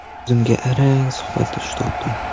O‘zimga arang suhbatdosh topdim.